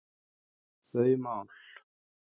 þau mál.